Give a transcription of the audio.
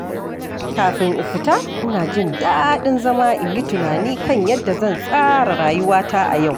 Kafin in fita, ina jin daɗin zama in yi tunani kan yadda zan tsara rayuwata a yau.